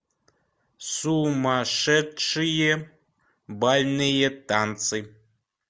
сумасшедшие бальные танцы